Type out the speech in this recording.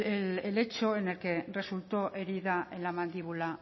el hecho en el que resultó herida en la mandíbula